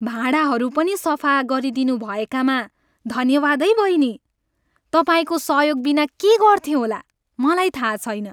भाँडाहरू पनि सफा गरिदिनु भएकामा धन्यवाद है बहिनी। तपाईँको सहयोगबिना के गर्थेँ होला, मलाई थाहा छैन।